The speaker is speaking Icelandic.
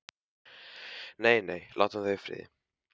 Nei, nei, látum þau í friði.